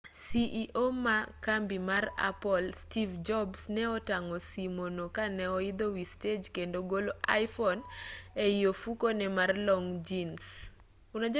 ceo ma kambi mar apple steve jobs ne otang'o simo no ka ne oidho wi stej kendo golo iphone ei ofukune mar long' jins